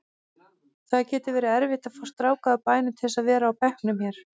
Það getur verið erfitt að fá stráka úr bænum til að vera á bekknum hér.